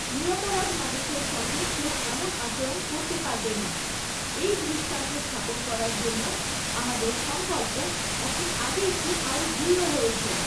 নিরপরাধ মানুষের সঙ্গে কেউ এমন আচরণ করতে পারবে না, এই দৃষ্টান্ত স্থাপন করার জন্য আমাদের সংকল্প এখন আগের চেয়ে আরও দৃঢ় হয়েছে।